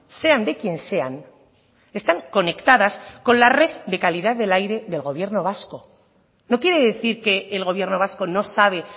sean de quien sean están conectadas con la red de calidad del aire del gobierno vasco no quiere decir que el gobierno vasco no sabe